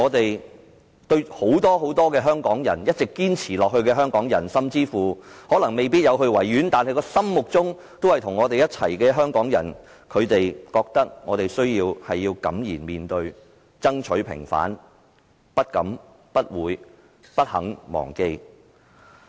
然而，對於我們和很多一直在堅持的香港人，甚至是那些沒有參與維園悼念活動但心卻與我們在一起的香港人，我們必須敢言面對，爭取平反，不敢、不會也不肯忘記。